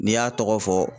N'i y'a tɔgɔ fɔ